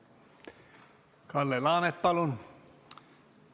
Kalle Laanet, palun!